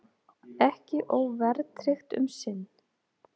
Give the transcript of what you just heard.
Ekki óverðtryggt um sinn